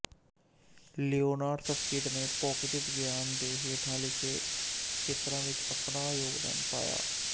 Leonard Susskind ਨੇ ਭੌਤਿਕ ਵਿਗਿਆਨ ਦੇ ਹੇਠਾਂ ਲਿਖੇ ਖੇਤਰਾਂ ਵਿੱਚ ਵੀ ਅਪਣਾ ਯੋਗਦਾਨ ਪਾਇਆ